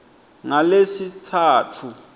ngalesitsatfu